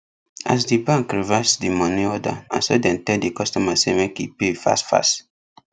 as d bank reverse the money order naso dem tell the customer say make e pay fast fast